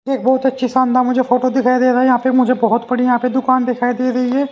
एक बहुत अच्छी शानदार मुझे फोटो दिखाई दे रहा हैयहां पे मुझे बहुत बड़ीयहां पे दुकानदिखाई दे रही है ।